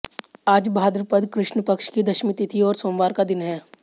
आज भाद्रपद कृष्ण पक्ष की दशमी तिथि और सोमवार का दिन है